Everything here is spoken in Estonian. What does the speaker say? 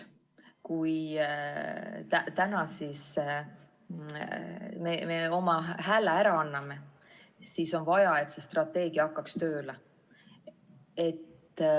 Kui me täna sellele strateegiale oma hääle anname, on vaja, et see strateegia hakkaks ka tööle.